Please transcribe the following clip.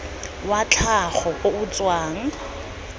wa tlhago o o tswang